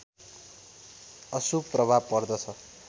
अशुभ प्रभाव पर्दछ